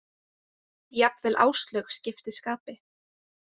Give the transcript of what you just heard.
Jafnvel Áslaug skipti skapi.